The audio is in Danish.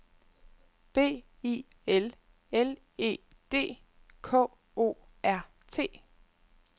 B I L L E D K O R T